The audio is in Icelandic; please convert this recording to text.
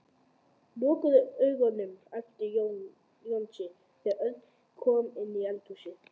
Lokaðu augunum æpti Jónsi þegar Örn kom inn í eldhúsið.